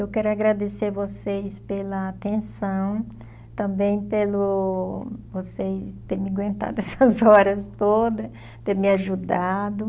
Eu quero agradecer vocês pela atenção, também pelo vocês terem me aguentado essas horas todas, ter me ajudado.